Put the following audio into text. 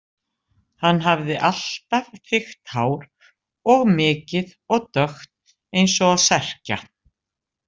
Hann hafði alltaf þykkt hár og mikið og dökkt eins og á Serkja.